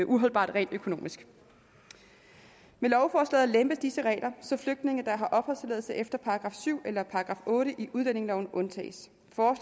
uholdbart rent økonomisk med lovforslaget lempes disse regler så flygtninge der har opholdstilladelse efter § syv eller § otte i udlændingeloven undtages